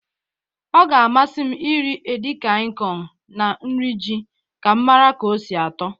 Ọ ga-amasị m iri edikaịkọn na nri ji ka m mara ka o si atọ.